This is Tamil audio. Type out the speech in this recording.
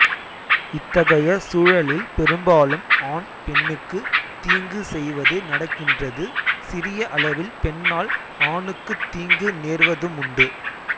இத்தகைய சூழலில் பெரும்பாலும் ஆண் பெண்ணுக்கு தீங்கு செய்வது நடக்கின்றது சிறிய அளவில் பெண்ணால் ஆணுக்குத் தீங்கு நேர்வதுமுண்டு